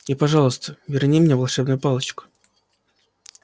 и пожалуйста верни мне волшебную палочку